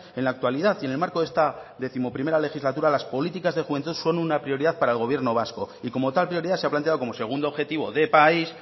en la actualidad y en el marco de esta décimoprimera legislatura las políticas de juventud son una prioridad para el gobierno vasco y como tal prioridad se ha planteado como segundo objetivo de país